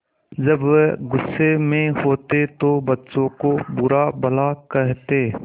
जब वह गुस्से में होते तो बच्चों को बुरा भला कहते